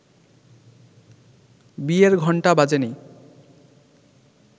বিয়ের ঘণ্টা বাজেনি